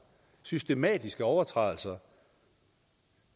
systematiske overtrædelser